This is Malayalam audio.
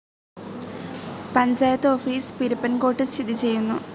പഞ്ചായത്ത് ഓഫീസ്‌ പിരപ്പൻകോട്ട് സ്ഥിതി ചെയ്യുന്നു.